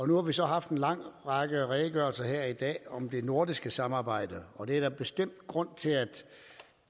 nu har vi så haft en række redegørelser her i dag om det nordiske samarbejde og det er der bestemt grund til at